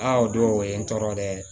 Aa o don o ye n tɔɔrɔ dɛ